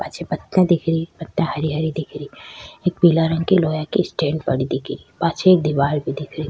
पाछे पत्तियां दिख री पत्तिया हरी हरी दिख री एक पिला रंग की लोहा की स्टैंड पड़ी दिख री पाछे एक दीवार भी दिख री।